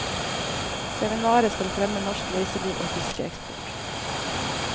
Seminaret skal fremme norsk reiseliv og fiskeeksport.